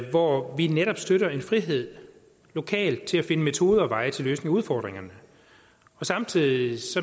hvor vi netop støtter en frihed lokalt til at finde metoder og veje til at løse udfordringerne samtidig